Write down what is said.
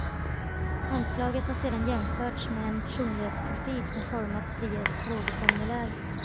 Handslaget har sedan jämförts med en personlighetsprofil som formats via ett frågeformulär.